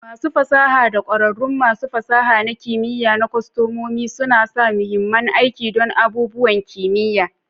Masu fasaha da ƙwararrun masu fasaha na kimiya na kwastomomi suna sa mahimmin aiki don abubuwan kimiyya.